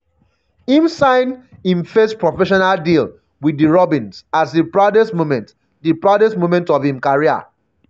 im sign im first professional deal wit di robins as di proudest moment di proudest moment of im career.